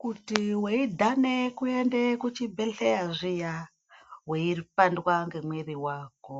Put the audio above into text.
Kuti weidhana kuenda kuchibhedhela zviya weipandwa nemuviri wako